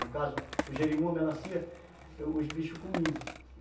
No caso, o gerimum, a melancia, os bichos comiam.